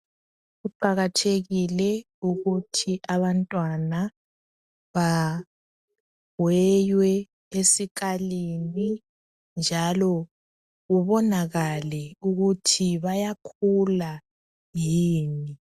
Kuqakathekile ukuthi abantwana baweywe esikalini njalo kubonakale ukuthi bayakhula yini.